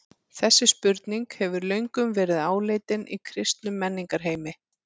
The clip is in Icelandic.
Þessi spurning hefur löngum verið áleitin í kristnum menningarheimi.